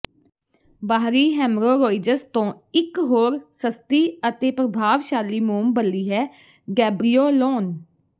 ਬਾਹਰੀ ਹੈਮਰੋਰੋਇਜ਼ਸ ਤੋਂ ਇੱਕ ਹੋਰ ਸਸਤੀ ਅਤੇ ਪ੍ਰਭਾਵਸ਼ਾਲੀ ਮੋਮਬਲੀ ਹੈ ਗੇਬ੍ਰੀਓਲੋਨ